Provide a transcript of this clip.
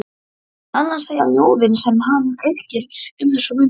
En annað segja ljóðin sem hann yrkir um þessar mundir